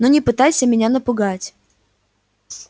но не пытайся меня напугать